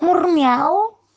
мур мяу